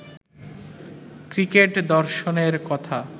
cricket দর্শনের কথা